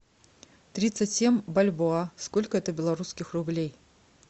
тридцать семь бальбоа сколько это белорусских рублей